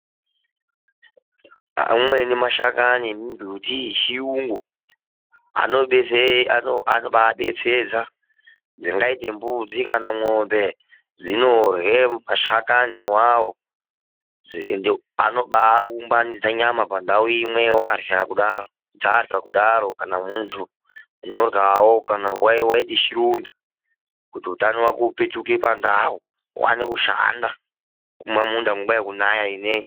Amweni mashakani anodetsera. Anobadetsedza zvingaita mbudzi kana mwombe dzinorya mashakani iwawo anobaumbanidza nyama pandau imwe chaarwya kudaro kana muntu undyawo kuti utano wako upituke pakare uwane kushanda kumaminda nguva yekunaya ino.